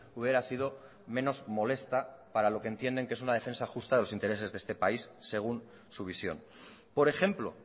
hubiera sido menos molesta para lo que entienden que es una defensa justa de los intereses de este país según su visión por ejemplo